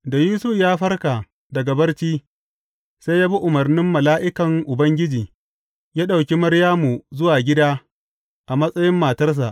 Da Yusuf ya farka daga barci, sai ya bi umarnin mala’ikan Ubangiji, ya ɗauki Maryamu zuwa gida a matsayin matarsa.